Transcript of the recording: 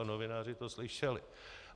A novináři to slyšeli.